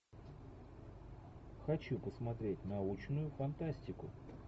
хочу посмотреть научную фантастику